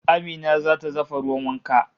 Amina zata dafa ruwan wankan